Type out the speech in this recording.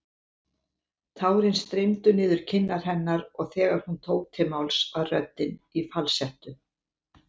Tárin streymdu niður kinnar hennar og þegar hún tók til máls var röddin í falsettu.